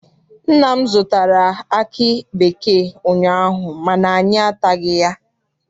Nna m zụtara aki bekee ụnyaahụ mana anyị ataghị ya.